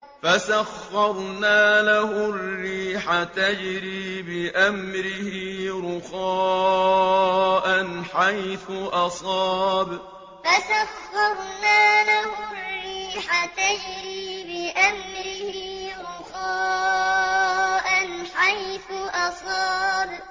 فَسَخَّرْنَا لَهُ الرِّيحَ تَجْرِي بِأَمْرِهِ رُخَاءً حَيْثُ أَصَابَ فَسَخَّرْنَا لَهُ الرِّيحَ تَجْرِي بِأَمْرِهِ رُخَاءً حَيْثُ أَصَابَ